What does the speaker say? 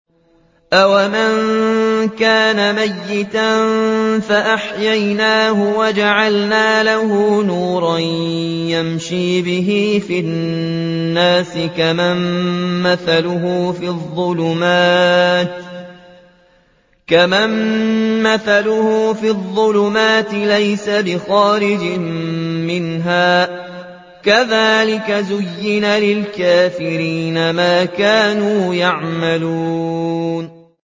أَوَمَن كَانَ مَيْتًا فَأَحْيَيْنَاهُ وَجَعَلْنَا لَهُ نُورًا يَمْشِي بِهِ فِي النَّاسِ كَمَن مَّثَلُهُ فِي الظُّلُمَاتِ لَيْسَ بِخَارِجٍ مِّنْهَا ۚ كَذَٰلِكَ زُيِّنَ لِلْكَافِرِينَ مَا كَانُوا يَعْمَلُونَ